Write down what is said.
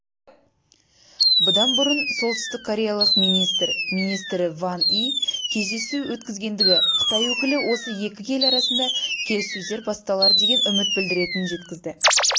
бұдан бұрын солтүстіккореялық министр министрі ван и кездесу өткізгенді қытай өкілі осы екі ел арасында келіссөздер басталар деген үміт білдіретінін жеткізді